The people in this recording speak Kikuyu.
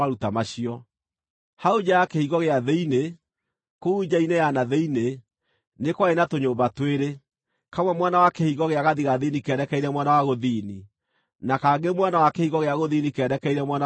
Hau nja ya kĩhingo gĩa thĩinĩ, kũu nja-inĩ ya na thĩinĩ, nĩ kwarĩ na tũnyũmba twĩrĩ, kamwe mwena wa kĩhingo gĩa gathigathini kerekeire mwena wa gũthini, na kangĩ mwena wa kĩhingo gĩa gũthini kerekeire mwena wa gathigathini.